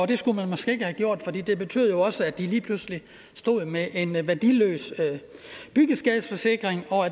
det skulle man måske ikke have gjort for det betød også at de lige pludselig stod med en værdiløs byggeskadeforsikring og